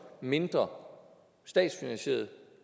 mindre statsfinansieret